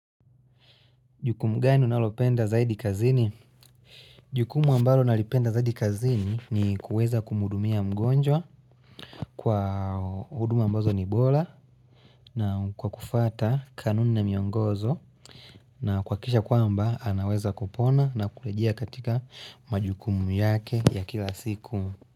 Jukumu gani unalopenda zaidi kazini? Jukumu ambalo nalipenda zaidi kazini ni kuweza kumudumia mgonjwa kwa huduma ambazo ni bola na kwa kufata kanuni na miongozo na kuhakikisha kwamba anaweza kupona na kulejea katika majukumu yake ya kila siku.